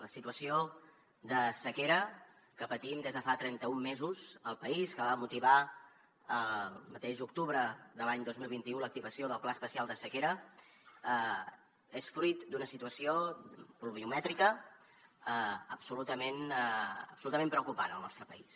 la situació de sequera que patim des de fa trenta un mesos al país que va motivar al mateix octubre de l’any dos mil vint u l’activació del pla especial de sequera és fruit d’una situació pluviomètrica absolutament preocupant al nostre país